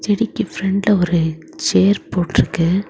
செடிக்கு பிரண்ட்ல ஒரு சேர் போட்ருக்கு.